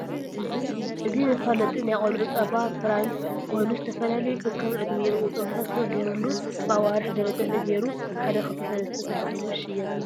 እዚ መፋለጢ ናይ ቆልዑ ፃባ ፍራንስ ኮይኑ ዝትፍላለዩ ከከም ዕድሚኦም ቁፅርታት ተግይሩሉ ብኣዋርሕ ደርጃ ተገይሩ ሓደ ክልተ ሰለስተ ተባሂሉ ዝሽይጥ እዩ።